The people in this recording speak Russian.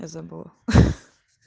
я забыла ха